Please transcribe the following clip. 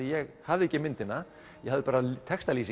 ég hafði ekki myndina ég hafði bara